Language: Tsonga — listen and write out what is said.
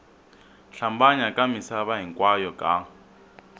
hlambanya ka misava hinkwayo ka